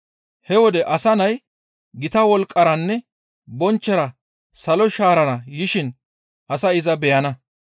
«He wode Asa Nay gita wolqqaranne bonchchora salo shaarara yishin asay iza beyana.